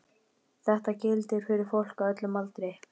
Þetta gildir fyrir fólk á öllum aldri.